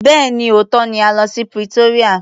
Bẹ́ẹ̀ni, òótọ́ ni a lọ sí Pretoria.